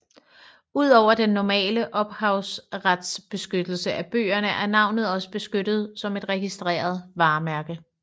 Ud over den normale ophavsretsbeskyttelse af bøgerne er navnet også beskyttet som et registreret varemærke